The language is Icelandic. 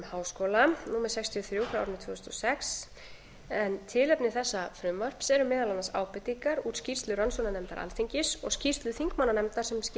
þrjú tvö þúsund og sex en tilefni þessa frumvarps eru meðal annars ábendingar úr skýrslu rannsóknarnefndar alþingis og skýrslu þingmannanefndar sem skipuð var í framhaldi